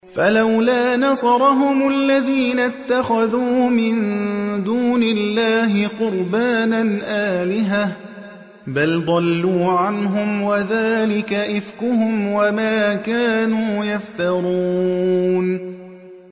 فَلَوْلَا نَصَرَهُمُ الَّذِينَ اتَّخَذُوا مِن دُونِ اللَّهِ قُرْبَانًا آلِهَةً ۖ بَلْ ضَلُّوا عَنْهُمْ ۚ وَذَٰلِكَ إِفْكُهُمْ وَمَا كَانُوا يَفْتَرُونَ